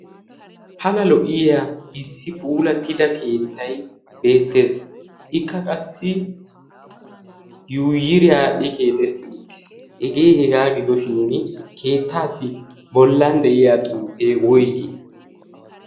pala lo'iya issi puulattida keettai beettees. ikka qassi yuyiriyaaddhi keexetti uttiis. hegee hegaa gidoshin keettaassi bollan de'iya xuuppee woygii?